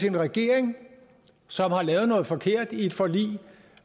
en regering som har lavet noget forkert i et forlig